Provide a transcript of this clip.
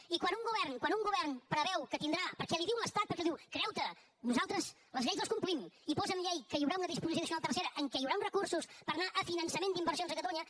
i quan un govern preveu que tindrà perquè l’hi diu l’estat perquè l’hi diu creu t’ho nosaltres les lleis les complim i posa en llei que hi haurà una disposició addicional tercera en què hi haurà uns recursos per anar a finançament d’inversions a catalunya